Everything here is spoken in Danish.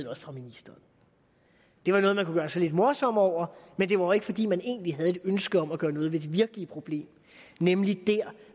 også fra ministeren det var noget man kunne gøre sig lidt morsom over men det var jo ikke fordi man egentlig havde et ønske om at gøre noget ved det virkelige problem nemlig der